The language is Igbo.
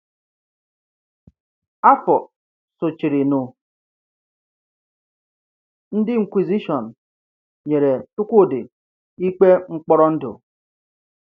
Afọ sochirinụ, ndị Inquisition nyere Chikwudi ikpe mkpọrọ ndụ.